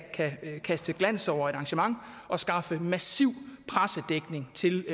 kaste glans over et arrangement og skaffe massiv pressedækning til